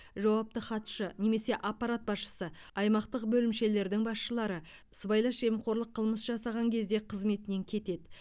жауапты хатшы немесе аппарат басшысы аймақтық бөлімшелердің басшылары сыбайлас жемқорлық қылмыс жасаған кезде қызметінен кетеді